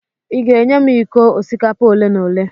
ị ga-enye m iko osikapa ole n'ole?